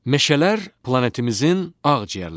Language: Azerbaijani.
Meşələr planetimizin ağciyərləridir.